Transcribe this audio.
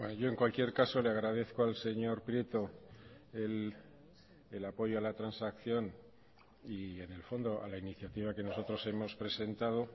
yo en cualquier caso le agradezco al señor prieto el apoyo a la transacción y en el fondo a la iniciativa que nosotros hemos presentado